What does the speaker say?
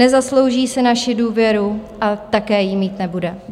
Nezaslouží si naši důvěru a také jí mít nebude.